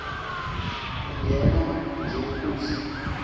lingena nje kusi